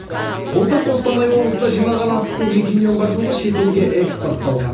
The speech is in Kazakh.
былтыр қостанай облысында жиналған астықтың екі миллионға жуығы шетелге экспортталған